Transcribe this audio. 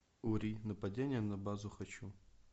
ури нападение на базу хочу